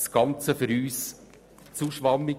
Das Ganze ist für uns zu schwammig.